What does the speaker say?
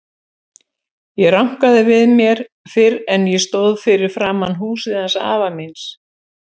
Ég rankaði ekki við mér fyrr en ég stóð fyrir framan húsið hans afa míns.